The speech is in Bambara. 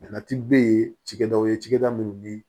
be yen cikɛdaw ye cakɛda minnu ni